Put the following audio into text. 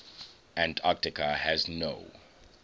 antarctica has no